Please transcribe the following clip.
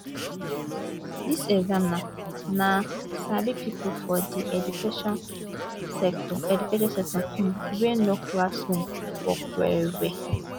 dis examiners na sabi pipo for di education sector education sector um wey know classroom work wellwell